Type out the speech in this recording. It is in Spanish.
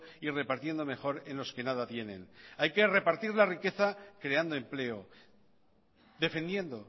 y repartiendo mejor en los que nada tienen hay que repartir la riqueza creando empleo defendiendo